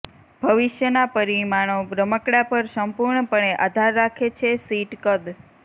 ભવિષ્યના પરિમાણો રમકડાં પર સંપૂર્ણપણે આધાર રાખે છે શીટ કદ